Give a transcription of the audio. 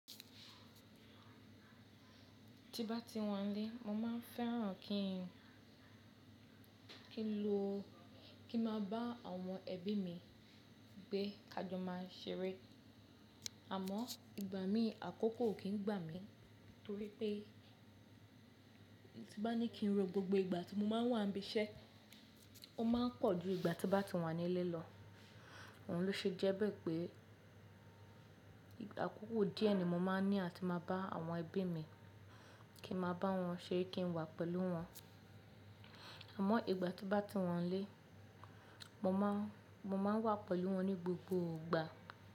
Ti bá ti wà nílé, mo máa ń fẹ́ràn kí n lo, kí n máa bá àwọn ẹbí mi gbé kajó máa ṣeré. Àmọ́ ìgbà mí àkókò kìí gbà mí torí pé ti bá ní kí n ro gbógbo ìgbà tí mo máa ń wà ń bí iṣẹ́, ó máa pọ̀ ju ìgbà tí bá ti wà nílé lọ. Òun ló ṣe jẹ́ bẹ́ẹ̀ pé ìgbà àkókò díẹ̀ ni mo máa ní à ti máa bá àwọn ẹbí mi, kí n máa bá wọn ṣeré, kí n wà pẹ̀lú wọn. Àmọ́ ìgbà tí bá ti wà nílé, mo máa, mo máa wà pẹ̀lú wọn ní gbogbo ìgbà.